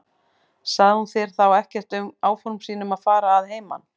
Sagði hún þér þá ekkert um áform sín um að fara að heiman?